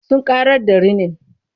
Sun ƙarar da rinin.